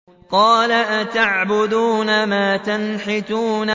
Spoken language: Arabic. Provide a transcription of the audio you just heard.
قَالَ أَتَعْبُدُونَ مَا تَنْحِتُونَ